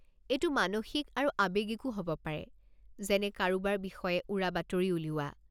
এইটো মানসিক আৰু আৱেগিকো হ'ব পাৰে যেনে কাৰোবাৰ বিষয়ে উৰাবাতৰি উলিওৱা।